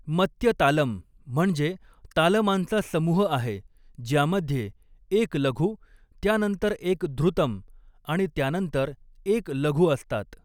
मत्य तालम म्हणजे तालमांचा समूह आहे, ज्यामध्ये एक लघु, त्यानंतर एक धृतम आणि त्यानंतर एक लघु असतात.